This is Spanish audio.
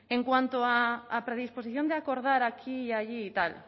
en cuanto a predisposición de acordar aquí y allí y tal